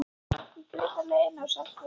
Ég grét á leiðinni á Selfoss.